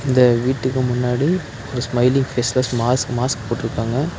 இந்த வீட்டுக்கு முன்னாடி ஒரு ஸ்மைலி ஃபேஸஸ் மாஸ்க் மாஸ்க் போட்ருக்காங்க.